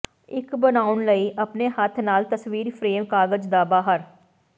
ਇੱਕ ਬਣਾਉਣ ਲਈ ਆਪਣੇ ਹੱਥ ਨਾਲ ਤਸਵੀਰ ਫਰੇਮ ਕਾਗਜ਼ ਦਾ ਬਾਹਰ